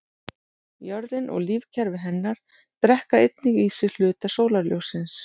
Jörðin og lífkerfi hennar drekka einnig í sig hluta sólarljóssins.